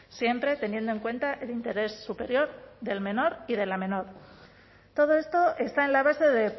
siempre teniendo en cuenta el interés superior del menor y de la menor todo esto está en la base de